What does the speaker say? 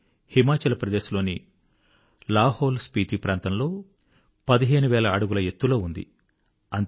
ఇది హిమాచల్ ప్రదేశ్ లోని లాహౌల్ స్పీతి ప్రాంతంలో 15000 అడుగుల ఎత్తులో ఉంది